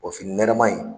nɛrɛma in